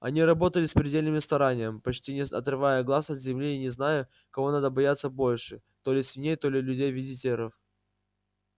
они работали с предельным старанием почти не отрывая глаз от земли и не зная кого надо бояться больше то ли свиней то ли людей-визитеров